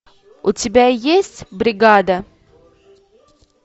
у тебя есть бригада